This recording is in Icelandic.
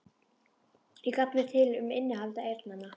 Ég gat mér til um innihald eyrnanna.